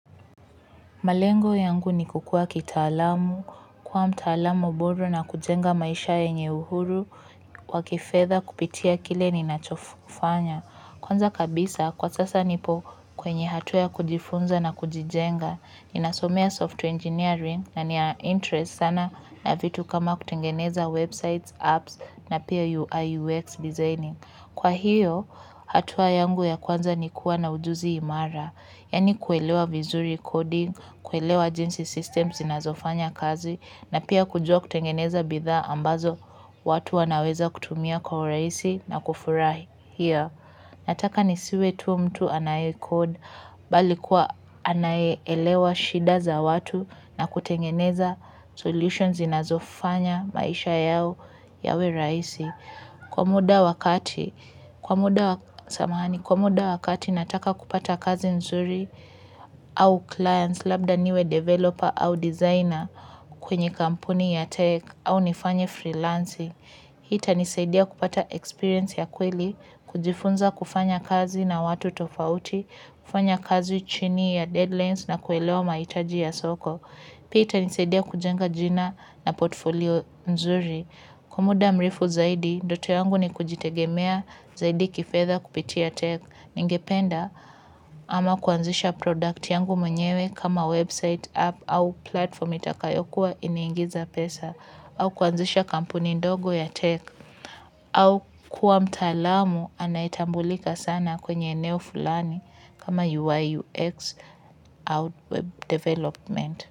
Malengo yangu ni kukua kitaalamu, kuwa mtaalamu bora na kujenga maisha yenye uhuru, wa kifedha kupitia kile ninachofanya. Kwanza kabisa, kwa sasa nipo kwenye hatua ya kujifunza na kujijenga, ninasomea software engineering na ni ya interest sana na vitu kama kutengeneza websites, apps na pia UI UX designing. Kwa hiyo, hatua yangu ya kwanza ni kuwa na ujuzi imara, yaani kuelewa vizuri coding, kuelewa jinsi systems inazofanya kazi, na pia kujua kutengeneza bidhaa ambazo watu wanaweza kutumia kwa urahisi na kufurahia. Nataka nisiwe tu mtu anaye kod bali kuwa anaye elewa shida za watu na kutengeneza solutions zinazofanya maisha yao yawe rahisi. Kwa muda wakati nataka kupata kazi nzuri au clients labda niwe developer au designer kwenye kampuni ya tech au nifanye freelancing. Hii itanisaidia kupata experience ya kweli, kujifunza kufanya kazi na watu tofauti, kufanya kazi chini ya deadlines na kuelewa mahitaji ya soko. Pia itanisaidia kujenga jina na portfolio nzuri. Kwa muda mrefu zaidi, ndoto yangu ni kujitegemea zaidi kifedha kupitia tech ningependa ama kuanzisha product yangu mwenyewe kama website app au platform itakayokuwa inaingiza pesa au kuanzisha kampuni ndogo ya tech au kuwa mtalamu anayetambulika sana kwenye eneo fulani kama UIUX au web development.